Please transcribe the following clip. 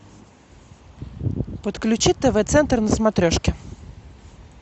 подключи тв центр на смотрешке